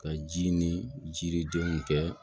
Ka ji ni jiridenw kɛ